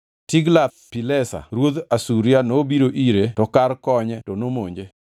Tiglath-Pilesa ruodh Asuria nobiro ire to kar konye to nomonje.